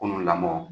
Kunun lamɔ